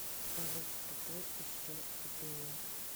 салют тупой еще тупее